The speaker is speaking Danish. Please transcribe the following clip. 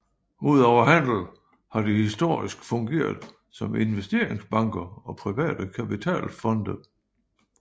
Udover handel har de historisk fungeret som investeringsbanker og private kapitalfonde